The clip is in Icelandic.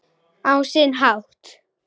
Á sinn hátt.